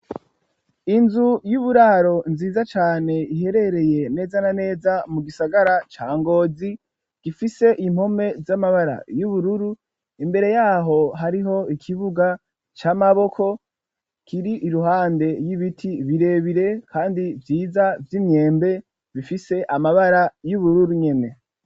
Inzu y'uburaro nziza cane iherereye neza na neza mu gisagara ca ngozi, ifise impome z'amabara y'ubururu, imbere yaho hariho ikibuga c'amaboko kiri iruhande y'ibiti birebire, kandi vyiza vy'imyembe bifise amabara y'ubururu nyene.